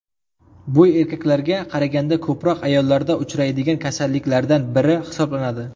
Bu erkaklarga qaraganda ko‘proq ayollarda uchraydigan kasalliklardan biri hisoblanadi.